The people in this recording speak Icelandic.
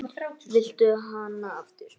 Viltu hana aftur?